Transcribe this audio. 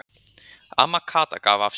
Amma Kata gaf af sér.